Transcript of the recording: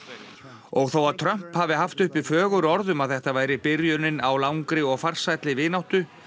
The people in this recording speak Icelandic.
og þó að Trump hafi haft uppi fögur orð um að þetta væri byrjunin á langri og farsælli vináttu